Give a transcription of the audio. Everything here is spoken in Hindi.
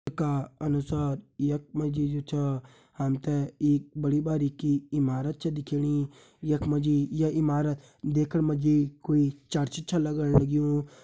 येका अनुसार यख मा जी जु छा हमथे एक बड़ी भारी की ईमारत च दिख्येणी यख मा जी य ईमारत देखण मा जी कुई चर्च छ लगण लग्यूं।